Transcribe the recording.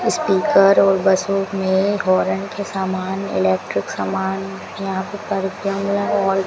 speaker और बसों में होरन के समान इलेक्ट्रिक समान यहां पे और --